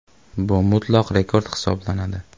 Bu mutlaq rekord hisoblanadi.